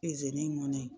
in kɔni